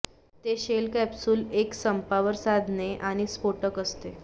ते shell capsule एक संपावर सांधणे आणि स्फोटक असते